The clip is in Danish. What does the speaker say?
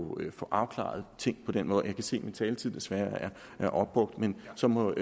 få afklaret ting på den måde jeg kan se at min taletid desværre er opbrugt men så må